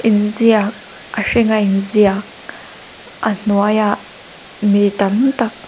inziak a hringa in ziak a hnuai ah mi tam tak --